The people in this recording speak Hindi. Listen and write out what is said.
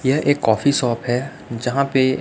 यह एक कॉफी शॉप है जहां पे--